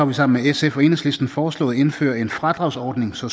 vi sammen med sf og enhedslisten foreslået at indføre en fradragsordning så